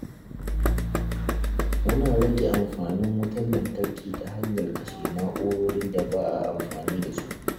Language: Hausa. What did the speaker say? Muna rage amfanin wutar lantarki ta hanyar kashe na’urorin da ba a amfani da su.